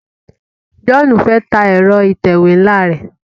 John fè tá Ẹ̀rọ ìtẹ̀wé nla rẹ.